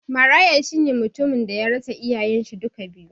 Maraya shine mutum daya rasa iyayen shi duka biyu